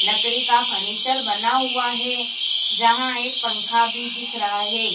लकड़ी का फर्नीचर बना हुआ है जहां एक पंखा भी दिख रहा है।